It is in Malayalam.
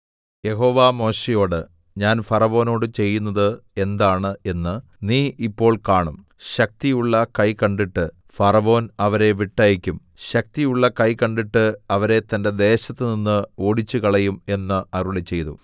യഹോവ മോശെയോട് ഞാൻ ഫറവോനോട് ചെയ്യുന്നത് എന്താണ് എന്ന് നീ ഇപ്പോൾ കാണും ശക്തിയുള്ള കൈ കണ്ടിട്ട് ഫറവോൻ അവരെ വിട്ടയയ്ക്കും ശക്തിയുള്ള കൈ കണ്ടിട്ട് അവരെ തന്റെ ദേശത്തുനിന്ന് ഓടിച്ചുകളയും എന്ന് അരുളിച്ചെയ്തു